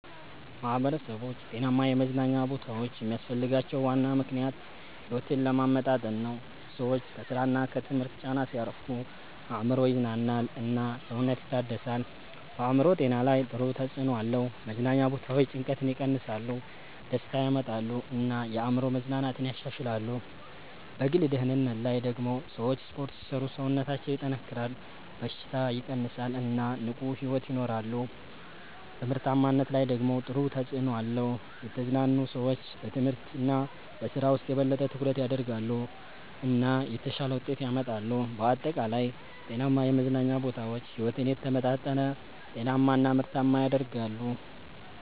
ማህበረሰቦች ጤናማ የመዝናኛ ቦታዎች የሚያስፈልጋቸው ዋና ምክንያት ሕይወትን ለማመጣጠን ነው። ሰዎች ከስራ እና ከትምህርት ጫና ሲያርፉ አእምሮ ይዝናናል እና ሰውነት ይታደሳል። በአእምሮ ጤና ላይ ጥሩ ተጽዕኖ አለው። መዝናኛ ቦታዎች ጭንቀትን ይቀንሳሉ፣ ደስታ ያመጣሉ እና የአእምሮ መዝናናትን ያሻሽላሉ። በግል ደህንነት ላይ ደግሞ ሰዎች ስፖርት ሲሰሩ ሰውነታቸው ይጠናከራል፣ በሽታ ይቀንሳል እና ንቁ ሕይወት ይኖራሉ። በምርታማነት ላይ ደግሞ ጥሩ ተጽዕኖ አለው። የተዝናኑ ሰዎች በትምህርት እና በስራ ውስጥ የበለጠ ትኩረት ያደርጋሉ እና የተሻለ ውጤት ያመጣሉ። በአጠቃላይ ጤናማ የመዝናኛ ቦታዎች ሕይወትን የተመጣጠነ፣ ጤናማ እና ምርታማ ያደርጋሉ።